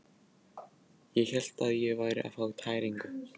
Ég hélt ég væri að fá tæringu.